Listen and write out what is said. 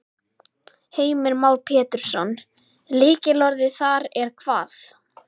Heimir Már Pétursson: Lykilorðið þar er hvað?